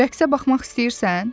Rəqsə baxmaq istəyirsən?